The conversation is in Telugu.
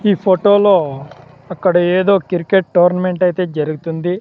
ఈ ఫొటో లో అక్కడ ఏదో క్రికెట్ టోర్నమెంట్ ఐతే జరుగుతుంది.